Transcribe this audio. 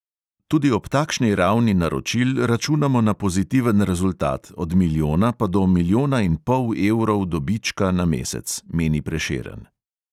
Tudi ob takšni ravni naročil računamo na pozitiven rezultat, od milijona pa do milijona in pol evrov dobička na mesec," meni prešeren.